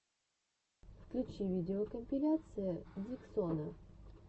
включи видеокомпиляция диксона